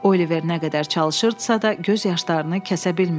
Oliver nə qədər çalışırdısa da, göz yaşlarını kəsə bilmirdi.